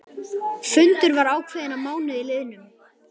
Fundur var ákveðinn að mánuði liðnum.